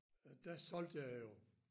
Øh der solgte jeg jo